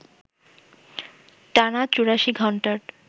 টানা ৮৪ ঘণ্টার